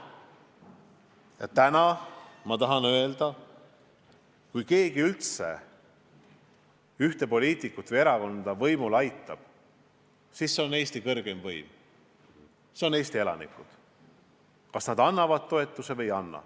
Ja täna ma tahan öelda, et kui keegi üldse mingit poliitikut või erakonda võimule aitab, siis see aitaja on Eesti kõrgeim võim, Eesti elanikud, kes annavad oma toetuse.